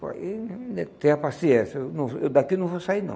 Olhe Tenha paciência, eu não eu daqui não vou sair, não.